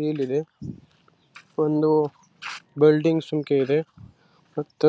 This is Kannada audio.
ನೋಡು ಅಂತ ವಾಹನ ಅದರಲ್ಲಿ